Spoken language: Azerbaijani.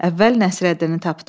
Əvvəl Nəsrəddini tapdım.